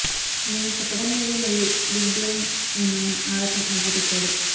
నేను చెప్పడం లేదు మరియు బిగ్ బ్లైండ్ మిమ్మల్ని ఆడటం మొదలుపెట్టాడు